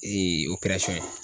ye